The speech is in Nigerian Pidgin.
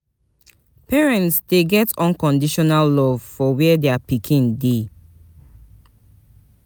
Parents de get unconditional love for where their pikin de